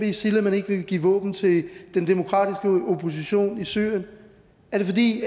isil at man ikke vil give våben til den demokratiske opposition i syrien er det fordi